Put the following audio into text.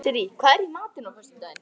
Sirrí, hvað er í matinn á föstudaginn?